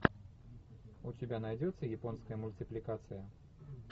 у тебя найдется японская мультипликация